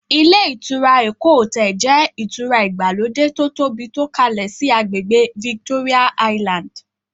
Ilé ìtura "Eko Hotel" jẹ́ ìtura ìgbàlódé to tóbi tó kalẹ síí àgbègbè "Victoria Island".